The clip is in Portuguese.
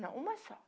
Não, uma só.